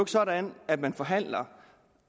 sådan at man forhandler